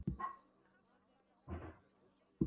Bóndinn á staðnum stóð álengdar og fylgdist með í örvæntingu.